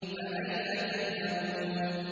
فَأَيْنَ تَذْهَبُونَ